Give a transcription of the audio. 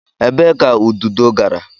Ebee ka ududo gara?